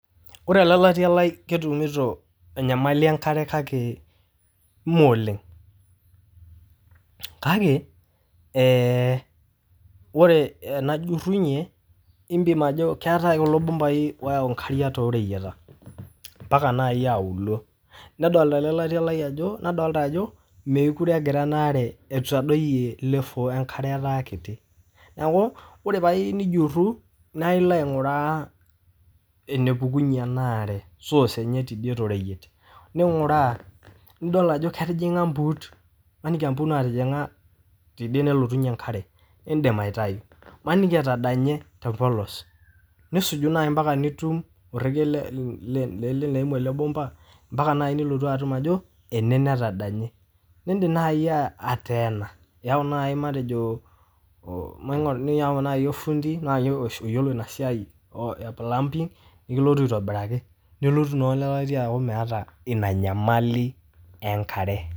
Kore ale latia lai ketumuto enyamali emkare kake mee oleng, kake enajurrunye impim ajo keatae kulo bumbaii looyau inkariak too reyieta empaka naii aulo, nadolita ale latia lai ajoo mekure egira anaare, etadoiye level enkare etaa kiti, naaku ore paaku iyeu nijuru naa ilo aing'uraa nepukunye enaare source enye tedie te royiet, ninguraa nidol ajo ketijing'a mpuut, maniki aa impuut naatijing'a tedie nelotunye enkare indim aitayu, maniki etadanye te mpolos, nisuju naii mpaka nitum oreke le ene neimu ake lbomba mpaka nai nilotu atuma ajo, ene netadanye, niindim naii ateena, niyauu naii matejo, maniki niyau naii olfundii naa sii oyiolo ina siaai e plumbing nikilotu aitobiraki, nelotu naa ikatia metaa ina enyamali enkare.